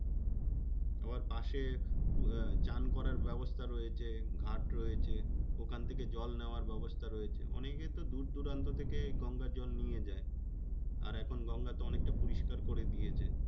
তারপর পাশে আহ চান করার ব্যবস্থা রয়েছে ঘাট রয়েছে। ওখান থেকে জল নেওয়ার ব্যবস্থা রয়েছে। অনেকে তো দূরদূরান্ত থেকে গঙ্গা জল নিয়ে যায়। আর এখন গঙ্গা তো অনেকটা পরিষ্কার করে দিয়েছে।